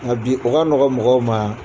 Nka bi ka nɔgɔ mɔgɔw ma